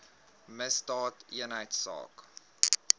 misdaadeenheidsaak